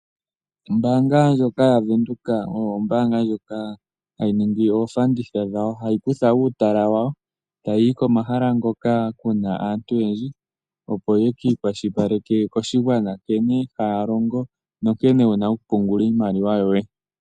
Ombaanga ndjoka yaVenduka oyo ombaanga ndjoka tayi ningi omauliko giiipindi yawo. Hayi kutha uutala wayo tayi yi komahala hoka ku na aantu oyendji, opo ye ki ikwashilipaleke koshigwana nkene haya longo nankene ye na okupungula iimaliwa yawo.